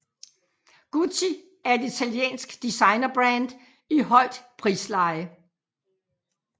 Gucci er et italiensk designerbrand i højt prisleje